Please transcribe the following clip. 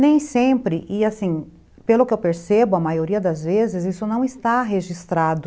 Nem sempre, e assim, pelo que eu percebo, a maioria das vezes, isso não está registrado.